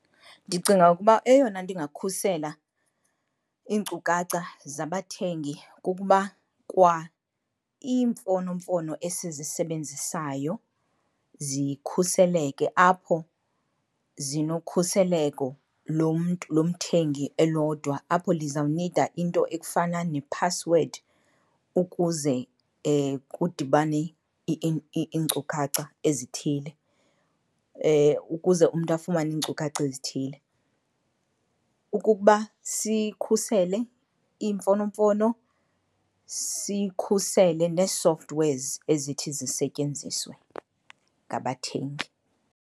Ndicinga ukuba eyona nto ingakhusela iinkukacha zabathengi kukuba kwa iimfonomfono esizisebenzisayo zikhuseleke, apho zinokhuseleko lomntu lomthengi elodwa apho lizawunida into ekufana nephasiwedi ukuze kudibane iinkcukacha ezithile, ukuze umntu afumane iinkcukacha ezithile. Ukuba sikhusele iimfonomfono sikhusele nee-softwares ezithi zisetyenziswe ngabathengi.